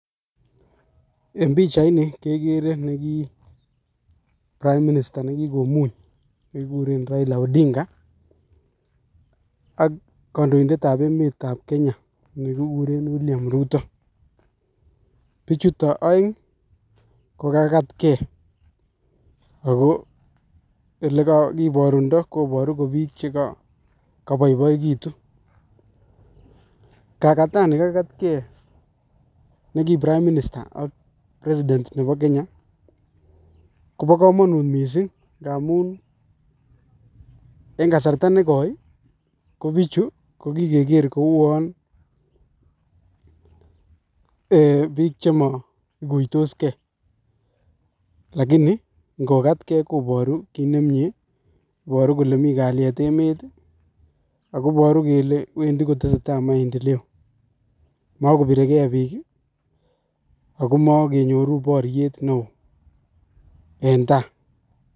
Eng pichait nii kekere neki prime minister ne Kikomuny ne kikuren Raila odinga ak kandoindet ab emet ab Kenya, ne kikuren William ruto, pichuto aeng Ii ko kakatke, Ako ole kakiborundo,, koborun ko biik che ka boboekitun, kakatani kakatken neki prime minister ak president nebo Kenya, Kobo kamonut mising amun eng kasarta nekoi ko bichu ko kikeker ko bik chemo ikuitosken lakini ngokaten koboru kit nemnyee, iboru kole mi kalyet emet ii, ako iboru kole Wendi kotese tai maendeleo, ma kobire Kee bik ii ako make nyoru boryet neoo, enn taa.